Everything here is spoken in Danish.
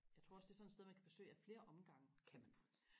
jeg tror også det er sådan et sted man kan besøge af flere omgange